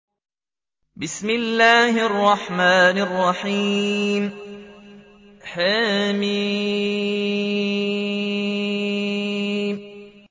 حم